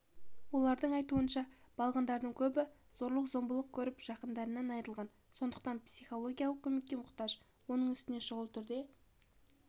олардың айтуынша балғындардың көбі зорлық-зомбылық көріп жақындарынан айырылған сондықтан психологиялық көмекке мұқтаж оның үстіне шұғыл түрде